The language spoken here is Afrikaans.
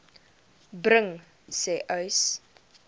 bring sê uys